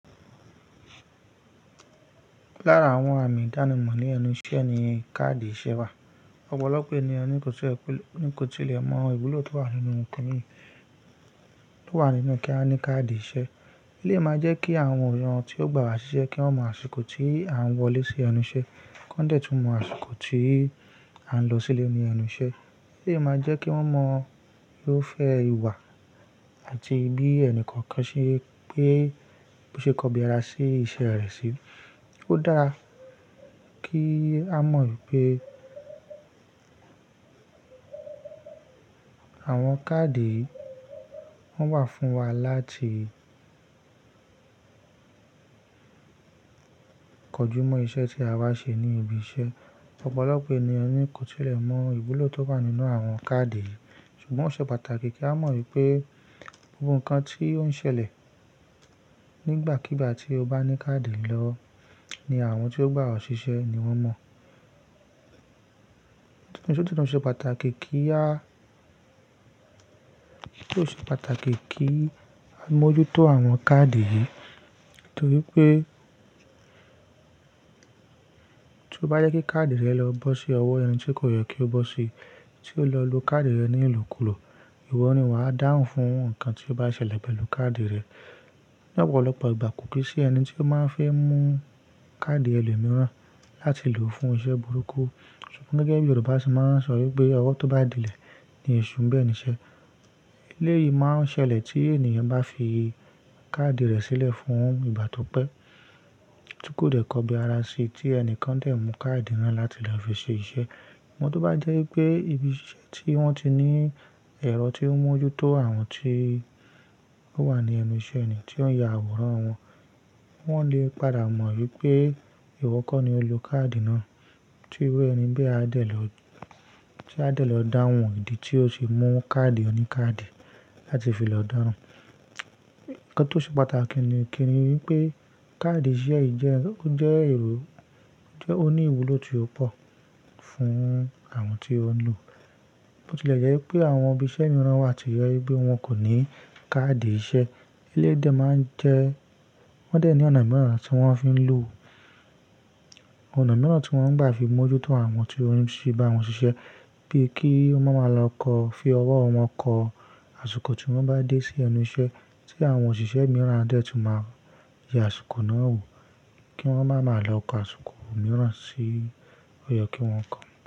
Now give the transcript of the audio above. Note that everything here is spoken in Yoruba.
Lára àwọn àmì ìdánimọ̀ ní ẹnu iṣẹ́ ni káàdì iṣẹ́ wà. Ọ̀pọ̀lọpọ̀ ènìyàn kò tilẹ̀ mọ ìwúlò tó wà nínú kí a ní káàdì iṣẹ́. Lé máa jẹ́ kí àwọn ènìyàn tí ó gbà wá ṣiṣẹ́ kí wọ́n mọ àsìkò tí à ń wọlé sí ẹnu iṣẹ́, kí wọ́n dẹ̀ tún mọ àsìkò tí à ń lọ sílé ní ẹnu iṣẹ́. Lé máa jẹ́ kí wọ́n mọ bí ó fẹ́ ìwà àti bí ẹnìkọ̀ọ̀kan ṣe pé, ṣe kọbi ara sí iṣẹ́ rẹ̀ sí. Ó dára kí a mọ̀ wípé àwọn káàdì wọ́n wà fún wa láti kojúmọ́ iṣẹ́ tí a bá ṣe ní ibi iṣẹ́. Ọ̀pọ̀lọpọ̀ ènìyàn ni kò tilẹ̀ mọ ìwúlò tó wà nínú àwọn káàdì yìí. Ṣùgbọ́n ó ṣe pàtàkì kí a mọ̀ wípé gbogbo nǹkan tí ó ń ṣẹlẹ̀ nígbàkígbà tí o bá ní káàdì lọ ní àwọn tí ó gbà ọ́ ṣiṣẹ́ ni wọ́n mọ̀. Nítorí tí ó ṣe pàtàkì kí a mójú tó àwọn káàdì yìí. Nítorí pé tí ó bá jẹ́ kí káàdì rẹ lọ bọ́ sí ọwọ́ ẹni tí kò yẹ kí ó bọ́ sí, tí o lọ lo káàdì rẹ ní ìlòkulò, ìwọ ni wà á dáhùn fún nǹkan tí ó bá ṣẹlẹ̀ pẹ̀lú káàdì rẹ. Ní ọ̀pọ̀lọpọ̀ ìgbà kò kí i ṣe ẹni tí ó máa ń fẹ́ mú káàdì ẹlòmíràn láti lò fún iṣẹ́ burúkú. Ṣùgbọ́n gẹ́gẹ́ bí Yorùbá ṣe máa ń sọ wípé "ọwọ́ tó bá dílẹ̀ ni èṣù ń bẹ nìṣẹ́." Léyìí máa ń ṣẹlẹ̀ tí ènìyàn bá fi káàdì rẹ̀ sílẹ̀ fún ìgbà tó pẹ́ tí kò dẹ̀ kọbi ara sí, tí ẹni kan dẹ̀ mú káàdì náà láti lọ fi ṣe iṣẹ́. Ṣùgbọ́n tí ó bá jẹ́ wípé ibi iṣẹ́ tí wọ́n ti ní ẹ̀rọ tí ó ń mójú tó àwọn tí ó wà ní ẹnu iṣẹ́ ènìyàn tí ó ń ya àwòrán wọn, wọ́n lè padà mọ̀ wípé ìwọ kọ́ ni ó lo káàdì náà tí iru éẹni bí a dẹ̀ lọ dáhùn ìdí tí ó fi mú káàdì oníkáàdì láti fi lọ dáran. Ǹkan tí ó ṣe pàtàkì ni pé káàdì iṣẹ́ yìí jẹ́, ó jẹ́ èrò, ó ní ìwúlò tí ó pò fún àwọn tí ó ń lò. Bó tilẹ̀ jẹ́ wípé àwọn ibi iṣẹ́ mìíràn wà tí yẹ bí wọ́n kò ní káàdì iṣẹ́, léyìí dẹ̀ máa ń jẹ́ wọn dẹ̀ ní ọ̀nà mìíràn tí wọ́n á fi ń lò, ọ̀nà mìíràn tí wọ́n ń gbà fi mójú tó àwọn tí ó ń ṣe bá wọn ṣiṣẹ́ bíi kí wọ́n máa lọ kọ, fi ọwọ́ wọn kọ àsìkò tí wọ́n bá dé sí ẹnu iṣẹ́ tí àwọn òṣìṣẹ́ mìíràn dẹ̀ tún máa yẹ àsìkò náà wò kí wọ́n máa lọ kọ àsìkò mìíràn sí ó yẹ kí wọ́n kọ.